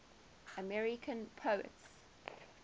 american poets